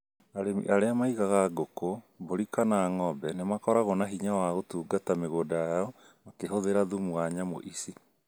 Arĩmi arĩa maigaga ng'uku, mbũri kana ng'ombe nĩ makoragwo na hinya wa gũtungata mĩgũnda yao makĩhũthĩra thumu wa nyamũ ici